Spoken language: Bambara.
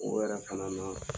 O yɛrɛ fana na